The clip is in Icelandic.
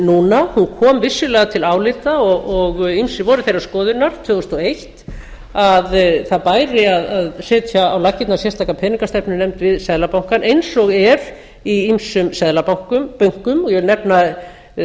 núna hún kom vissulega til álita og ýmsir voru þeirrar skoðunar tvö þúsund og eitt að það bæri að setja á laggirnar sérstaka peningastefnunefnd við seðlabankann eins og er í ýmsum seðlabönkum ég vil nefna